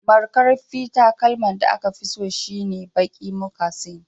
Markarfi takalman da aka fi so shine baki mucasin